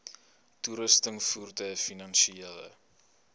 toerusting voertuie finansiële